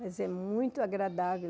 Mas é muito agradável.